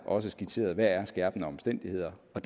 også skitseret hvad der er skærpende omstændigheder og